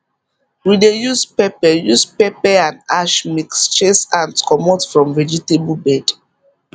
we dey use pepper use pepper and ash mix chase ant comot from vegetable bed